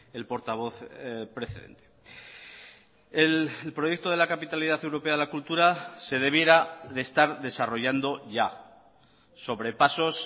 el portavoz precedente el proyecto de la capitalidad europea de la cultura se debiera de estar desarrollando ya sobre pasos